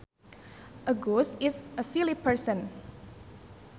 A goose is a silly person